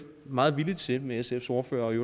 meget villig til at gøre med sfs ordfører og i